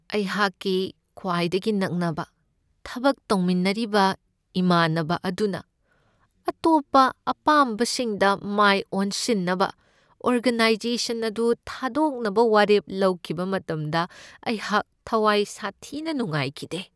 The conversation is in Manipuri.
ꯑꯩꯍꯥꯛꯀꯤ ꯈ꯭ꯋꯥꯏꯗꯒꯤ ꯅꯛꯅꯕ ꯊꯕꯛ ꯇꯧꯃꯤꯟꯅꯔꯤꯕ ꯏꯃꯥꯟꯅꯕ ꯑꯗꯨꯅ ꯑꯇꯣꯞꯄ ꯑꯄꯥꯝꯕꯁꯤꯡꯗ ꯃꯥꯏ ꯑꯣꯟꯁꯤꯟꯅꯕ ꯑꯣꯔꯒꯅꯥꯏꯖꯦꯁꯟ ꯑꯗꯨ ꯊꯥꯗꯣꯛꯅꯕ ꯋꯥꯔꯦꯞ ꯂꯧꯈꯤꯕ ꯃꯇꯝꯗ ꯑꯩꯍꯥꯛ ꯊꯋꯥꯏ ꯁꯥꯊꯤꯅ ꯅꯨꯡꯥꯏꯈꯤꯗꯦ ꯫